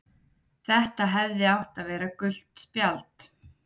Þetta hefði átt að vera gult spjald.